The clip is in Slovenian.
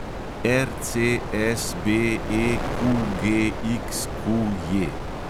RCSBEQGXQJ